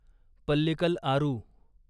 Pallikal Aaru